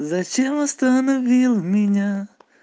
зачем остановила меня